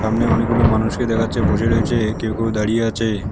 সামনে অনেকগুলো মানুষকে দেখা যাচ্ছে বসে রয়েছে কেউ কেউ দাঁড়িয়ে আছে।